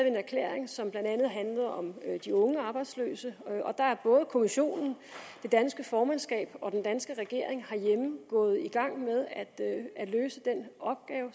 en erklæring som blandt andet handlede om de unge arbejdsløse og der er både kommissionen det danske formandskab og den danske regering herhjemme gået i gang med at løse den opgave